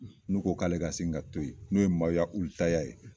N'u ko k'ale ka sin ka to yen, n'o ye ye